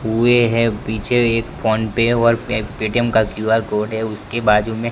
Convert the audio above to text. हुए हैं पीछे एक फोन पे और पे पेटीएम का क्यू_आर कोड है उसके बाजू में।